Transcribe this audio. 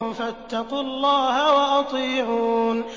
فَاتَّقُوا اللَّهَ وَأَطِيعُونِ